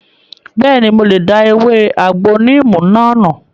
Bẹ́ẹ̀ni, mo lè da ewé àgbo níìmù náà nù